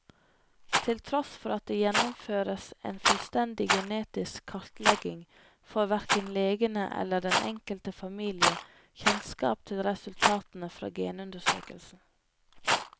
Til tross for at det gjennomføres en fullstendig genetisk kartlegging, får hverken legene eller den enkelte familie kjennskap til resultatene fra genundersøkelsen.